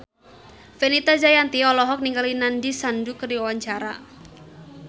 Fenita Jayanti olohok ningali Nandish Sandhu keur diwawancara